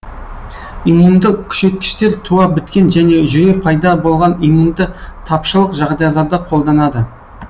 иммунды күшейткіштер туа біткен және жүре пайда болған иммунды тапшылық жағдайларда қолданады